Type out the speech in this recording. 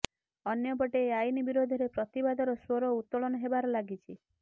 ଅନ୍ୟପଟେ ଏହି ଆଇନ ବିରୋଧରେ ପ୍ରତିବାଦର ସ୍ବର ଉତ୍ତୋଳନ ହେବାରେ ଲାଗିଛି